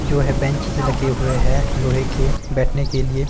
जो है बैंचेस लगे हुए है लोहे के बैठने के लिए।